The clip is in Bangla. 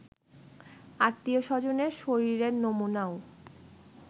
আত্মীয়স্বজনের শরীরের নমুনাও